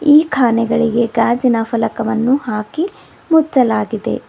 ಈ ಕಾನೆಗಳಿಗೆ ಗಾಜಿನ ಫಲಕವನ್ನು ಹಾಕಿ ಮುಚ್ಚಲಾಗಿದೆ.